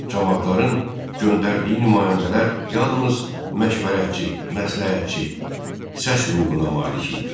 Camaatların göndərdiyi nümayəndələr yalnız məşvərətçi, məsləhətçi səs hüququna malik idilər.